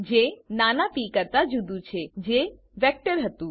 જે નાના પ કરતા જુદું છે જે વેક્ટર હતું